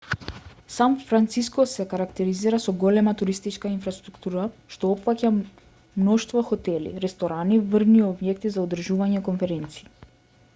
сан франциско се карактеризира со голема туристичка инфраструктура што опфаќа мноштво хотели ресторани и врвни објекти за одржување конференции